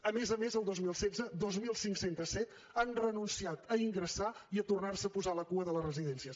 a més a més el dos mil setze dos mil cinc cents i set han renunciat a ingressar i a tornar se a posar a la cua de les residències